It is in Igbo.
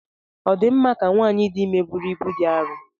Ọ dị mma ka nwanyị dị ime buru ibu dị arọ?